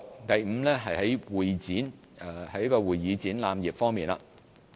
第五，是會議展覽業方面。